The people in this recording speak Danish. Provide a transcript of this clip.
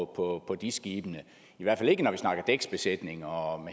på dis skibene i hvert fald ikke når vi snakker dæksbesætning og